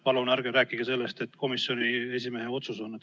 Palun ärge rääkige sellest, et see oli komisjoni esimehe otsus.